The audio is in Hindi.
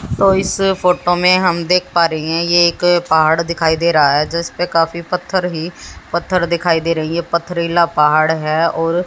तो इस फोटो में हम देख पा रहे हैं ये एक पहाड़ दिखाई दे रहा है जिस पे काफी पत्थर ही पत्थर दिखाई दे रही है पथरीला पहाड़ है और--